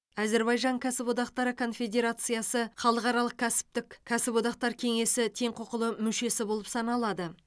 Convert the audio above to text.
әзірбайжан кәсіподақтары конфедерациясы халықаралық кәсіптік кәсіподақтар кеңесі тең құқылы мүшесі болып саналады